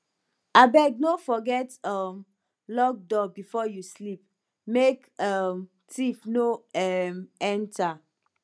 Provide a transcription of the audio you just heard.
abeg no forget um lock door before you sleep make um thief no um enter